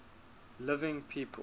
living people